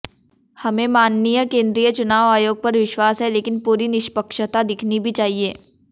हमें माननीय केंद्रीय चुनाव आयोग पर विश्वास है लेकिन पूरी निष्पक्षता दिखनी भी चाहिए